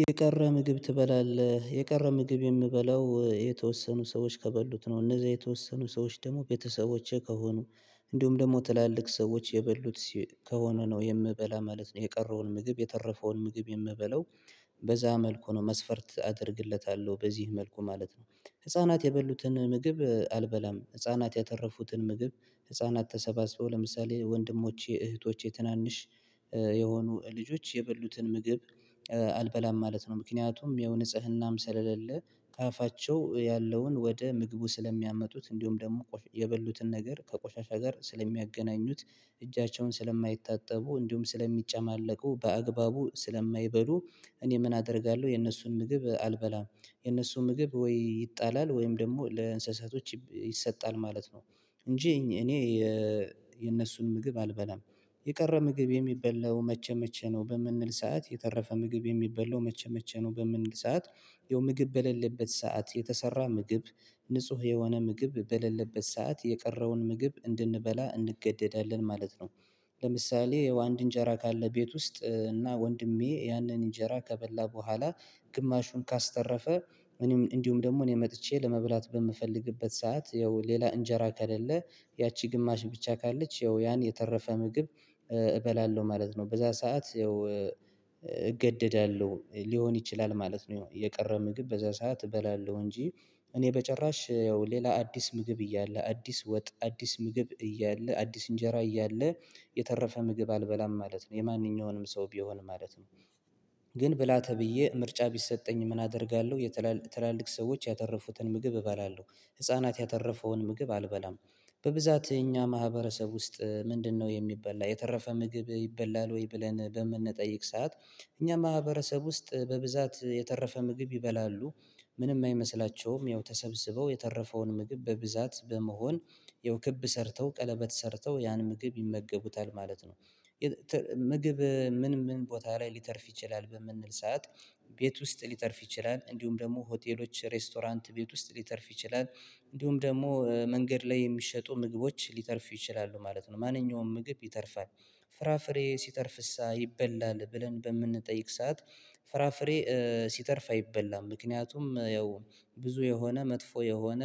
የቀረ ምግብ ትበላለህ የቀረ ምግብ የምበላው የተወሰኑ ሰዎች ከበሉት ነው እነዛ የተወሰኑ ሰዎች ደግሞ ቤተሰቦቼ ከሆኑ እንዲሁም ደግሞ ትላልቅ ሰዎች የበሉት ከሆነ ነው የምበላ ማለት ነው የቀረውን ምግብ የተረፈውን ምግብ የምበለው በዛ መልኩ ነው መስፈርት አደርግለታለሁ በዚህ መልኩ ማለት ነው። ህፃናት የበሉትን ምግብ አልበላም ህፃናት ያተረፉትን ምግብ ህፃናት ተሰባስበው ለምሳሌ ወንድሞቼ እህቶቼ ትናንሽ የሆኑ ልጆች የበሉትን ምግብ አልበላም ማለት ነው። ምክንያቱም የው ንጽህናም ስለሌለ ከአፋቸው ያለውን ወደ ምግቡ ስለሚያመጡት እንዲሁም ደግሞ የበሉትን ነገር ከቆሻሻ ጋር ስለሚያገናኙት እጃቸውን ስለማይታጠቡ እንዲሁም ስለሚጨማለቁ በአግባቡ ስለማይበሉ እኔ ምን አደርጋለሁ የእነሱን ምግብ አልበላም የነሱ ምግብ ወይ ይጣላል ወይም ደግሞ ለእንስሳቶች ይሰጣል ማለት ነው። እንጂ እኔ የነሱን ምግብ አልበላም። የቀረ ምግብ የሚበላው መቼ መቼ ነው በምንል ሰዓት የተረፈ ምግብ የሚበላው መቼ መቼ ነው በምንል ሰዓት? ያው ምግብ በሌለበት ሰዓት የተሰራ ምግብ ንጹህ የሆነ ምግብ በሌለበት ሰዓት የቀረውን ምግብ እንድንበላ እንገደዳለን ማለት ነው። ለምሳሌ ያው አንድ እንጀራ ካለ ቤት ውስጥ እና ወንድሜ ያንን እንጀራ ከበላ በኋላ ግማሹን ካስተረፈ እኔም እንዲሁም ደግሞ እኔ መጥቼ ለመብላት በምፈልግበት ሰዓት ያው ሌላ እንጀራ ከሌለ ያቺ ግማሽ ብቻ ካለች ያው ያን የተረፈ ምግብ እበላለሁ ማለት ነው። በዛ ሰዓት ያው እገደዳለሁ ሊሆን ይችላል ማለት ነው። ያው የቀረ ምግብ በዛ ሰዓት እበላለሁ እንጂ እኔ በጭራሽ ያው ሌላ አዲስ ምግብ እያለ አዲስ ወጥ አዲስ ምግብ እያለ አዲስ እንጀራ እያለ የተረፈ ምግብ አልበላም ማለት ነው የማንኛውንም ሰው ቢሆን ማለት ነው። ግን ብላ ተብዬ ምርጫ ቢሰጠኝ ምን አደርጋለሁ የትላልቅ ሰዎች ያተረፉትን ምግብ እበላለሁ ህፃናት ያተረፈውን ምግብ አልበላም። በብዛት እኛ ማህበረሰብ ውስጥ ምንድነው የሚበላ የተረፈ ምግብ ይበላል ወይ ብለን በምንጠይቅ ሰዓት? እኛ ማህበረሰብ ውስጥ በብዛት የተረፈ ምግብ ይበላሉ። ምንም አይመስላቸውም ያው ተሰብስበው የተረፈውን ምግብ በብዛት በመሆን ያው ክብ ሰርተው ቀለበት ሰርተው ያን ምግብ ይመገቡታል ማለት ነው። ምግብ ምን ምን ቦታ ላይ ሊተርፍ ይችላል በምንል ሰዓት? ቤት ውስጥ ሊተርፍ ይችላል እንዲሁም ደግሞ ሆቴሎች ሬስቶራንት ቤት ውስጥ ሊተርፍ ይችላል። እንዲሁም ደግሞ መንገድ ላይ የሚሸጡ ምግቦች ሊተርፍ ይችላሉ ማለት ነው ማንኛውም ምግብ ይተርፋል። ፍራፍሬ ሲተርፍሳ ይበላል ብለን በምንጠይቅ ሰዓት? ፍራፍሬ ሲተርፍ አይበላም ምክንያቱም ያው ብዙ የሆነ መጥፎ የሆነ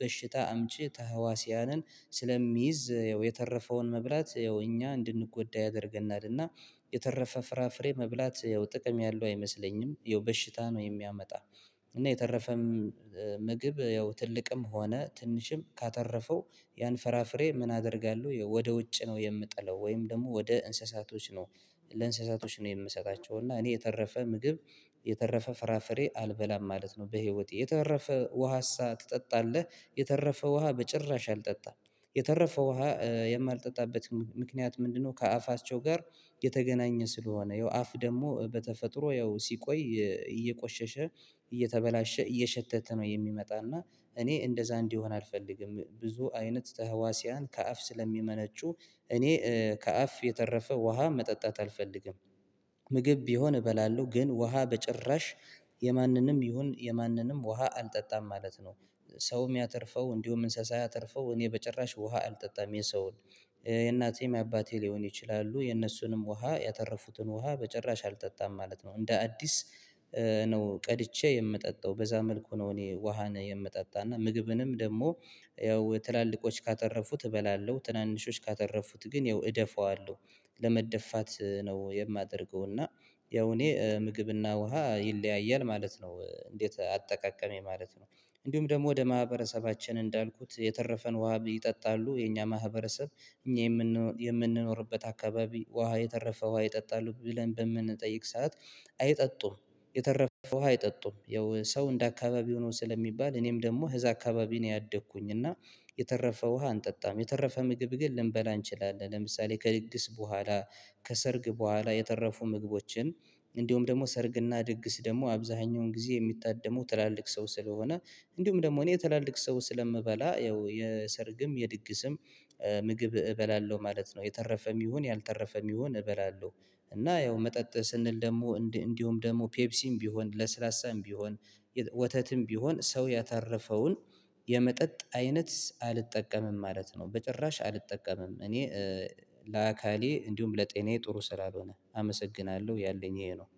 በሽታ አምጪ ተህዋሲያንን ስለሚይዝ ያው የተረፈውን መብላት ያው እኛ እንድንጎዳ ያደርገናል እና የተረፈ ፍራፍሬ መብላት ያው ጥቅም ያለው አይመስለኝም ያው በሽታ ነው የሚያመጣ። እና የተረፈ ምግብ ያው ትልቅም ሆነ ትንሽም ካተረፈው ያን ፍራፍሬ ምን አደርጋለሁ ያው ወደ ውጭ ነው የምጠለው ወይም ደግሞ ወደ እንስሳቶች ነው። ለእንስሳቶች ነው የምሰጣቸው እና እኔ የተረፈ ምግብ የተረፈ ፍራፍሬ አልበላም ማለት ነው። በህይወቴ የተረፈ ውሃሳ ትጠጣለህ? የተረፈ ውሃ በጭራሽ አልጠጣም። የተረፈ ውሃ የማልጠጣበትን ምክንያት ምንድነው? ከአፋቸው ጋር የተገናኘ ስለሆነ ያው አፍ ደግሞ በተፈጥሮ ያው ሲቆይ እየቆሸሸ እየተበላሸ እየሸተተ ነው የሚመጣና እኔ እንደዛ እንዲሆን አልፈልግም ብዙ አይነት ተህዋሲያን ከአፍ ስለሚመነጩ እኔ ከአፍ የተረፈ ውሃ መጠጣት አልፈልግም። ምግብ ቢሆን እበላለሁ ግን ውሃ በጭራሽ የማንንም ይሁን የማንንም ውሃ አልጠጣም ማለት ነው። ሰውም ያተርፈው እንዲሁም እንስሳ ያተርፈው እኔ በጭራሽ ውሃ አልጠጣም የሰውን የእናቴም የአባቴ ሊሆን ይችላሉ የእነሱንም ውሃ ያተረፉትን ውሃ በጭራሽ አልጠጣም ማለት ነው። እንደ አዲስ ነው ቀድቼ የምጠጣው በዛ መልኩ ነው። እኔ ውሃን የምጠጣና ምግብንም ደግሞ ያው ትላልቆች ካተረፉት እበላለሁ ትናንሾች ካተረፉት ግን ያው እደፋዋለው። ለመደፋት ነው የማደርገው እና ያው እኔ ምግብና ውሃ ይለያያል ማለት ነው። እንዴት አጠቃቀሜ ማለት ነው? እንዲሁም ደግሞ ወደ ማህበረሰባችን እንዳልኩት የተረፈን ውሃ ይጠጣሉ የኛ ማህበረሰብ እኛ የምንኖርበት አካባቢ ውሃ የተረፈ ውሃ ይጠጣሉ ብለን በምንጠይቅ ሰዓት አይጠጡም። የተረፈ ውሃ አይጠጡም ያው ሰው እንደ አካባቢው ነው ስለሚባል እኔም ደግሞ እዛ አካባቢ ነው ያደግኩኝ እና የተረፈ ውሃ አንጠጣም። የተረፈ ምግብ ግን ልንበላ እንችላለን ለምሳሌ ከድግስ በኋላ ከሰርግ በኋላ የተረፉ ምግቦችን እንዲሁም ደግሞ ሰርግና ድግስ ደግሞ አብዛኛውን ጊዜ የሚታደመው ትላልቅ ሰው ስለሆነ እንዲሁም ደግሞ እኔ ትላልቅ ሰው ስለምበላ ያው የሰርግም የድግስም ምግብ እበላለሁ ማለት ነው። የተረፈም ይሁን ያልተረፈም ይሁን እበላለሁ። እና ያው መጠጥ ስንል ደግሞ እንዲሁም ደግሞ ፔፕሲም ቢሆን ለስላሳም ቢሆን ወተትም ቢሆን ሰው ያተረፈውን የመጠጥ አይነት አልጠቀምም ማለት ነው። በጭራሽ አልጠቀምም እኔ ለአካሌ እንዲሁም ለጤናዬ ጥሩ ስላሆነ አመሰግናለሁ ያለኝ ይሄ ነው።